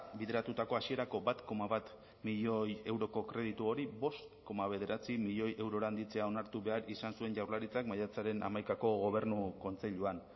bideratutako hasierako bat koma bat milioi euroko kreditu hori bost koma bederatzi milioi eurora handitzea onartu behar izan zuen jaurlaritzak maiatzaren hamaikako gobernu kontseiluan